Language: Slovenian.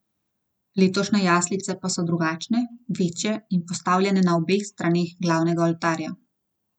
Letošnje jaslice pa so drugačne, večje in postavljene na obeh straneh glavnega oltarja.